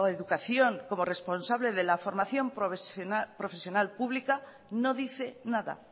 educación como responsable de la formación profesional pública no dice nada